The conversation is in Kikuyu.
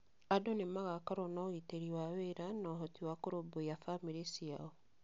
Andũ nĩ magaakorũo na ũgitĩri wa wĩra na ũhoti wa kũrũmbũiya famĩrĩ ciao.